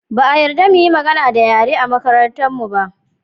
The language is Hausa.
Ba a yarda mu yi magana da yare a makarantarmu ba